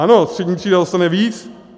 Ano, střední třída dostane víc.